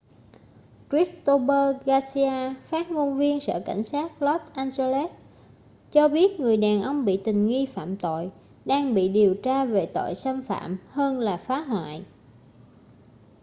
christopher garcia phát ngôn viên sở cảnh sát los angeles cho biết người đàn ông bị tình nghi phạm tội đang bị điều tra về tội xâm phạm hơn là phá hoại